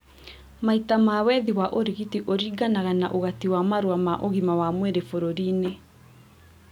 Maita ma wethi wa ũrigiti ũringanaga na ũgati wa marũa ma ũgima wa mwĩrĩ bũrũri-inĩ